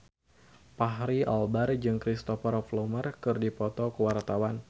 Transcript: Fachri Albar jeung Cristhoper Plumer keur dipoto ku wartawan